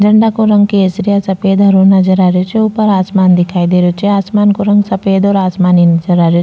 झंडा को रंग केसरिया सफ़ेद हरो नजर आ रहियो छे ऊपर आसमान दिखाई दे रहियो छे आसमान को रंग सफ़ेद और आसमानी नजर आ रहियो।